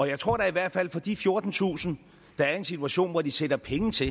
jeg tror da i hvert fald for de fjortentusind der er i en situation hvor de sætter penge til